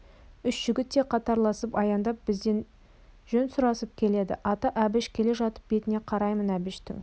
үш жігіт те қатарласып аяңдап бізден жөн сұрасып келеді аты әбіш келе жатып бетіне қараймын әбіштің